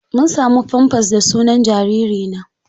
Mun samu famfas da sunan jariri na.